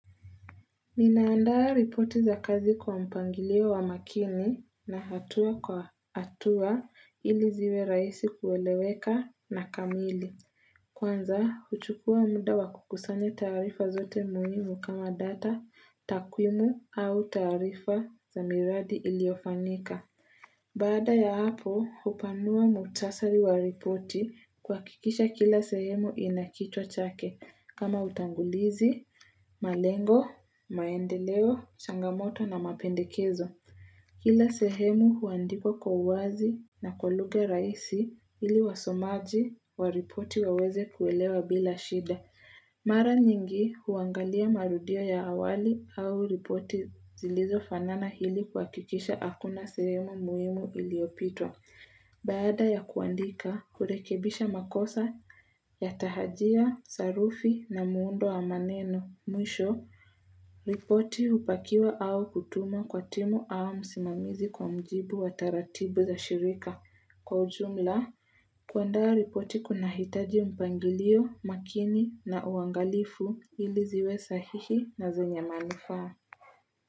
Nina andaa ripoti za kazi kwa mpangilio wa makini, na hatua kwa hatua, ili ziwe rahisi kueleweka na kamili. Kwanza, huchukua muda wa kukusanya taarifa zote muhimu kama data, takwimu au taarifa za miradi iliofanyika. Baada ya hapo, hupanua muhtasari wa ripoti, kuhakikisha kila sehemu ina kichwa chake, kama utangulizi, malengo, maendeleo, changamoto na mapendekezo. Kila sehemu huandikwa kwa uwazi na kwa lugha rahisi, ili wasomaji waripoti waweze kuelewa bila shida. Mara nyingi huangalia marudio ya awali au ripoti zilizofanana ili kuhakikisha hakuna sehemu muhimu iliopitwa. Baada ya kuandika, kurekebisha makosa ya tahajia, sarufi na muundo wa maneno, mwisho, ripoti hupakiwa au kutumwa kwa timu au msimamizi kwa mjibu wa taratibu za shirika. Kwa ujumla, kuandaa ripoti kuna kunahitaji mpangilio, makini na uangalifu, ili ziwe sahihi na zenye manufaa.